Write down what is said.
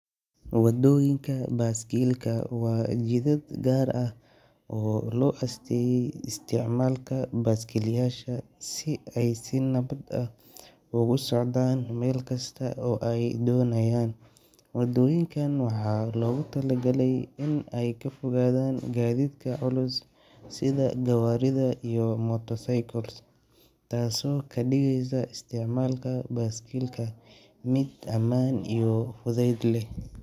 Wadooyinka baaskiilka waa jidad gaar ah oo loo asteeyay isticmaalka baaskiilayaasha si ay si nabad ah ugu socdaan meel kasta oo ay doonayaan. Wadooyinkan waxaa loogu talagalay in ay ka fogaadaan gaadiidka culus sida gawaarida iyo motorcycles, taasoo ka dhigaysa isticmaalka baaskiilka mid ammaan iyo fudayd leh.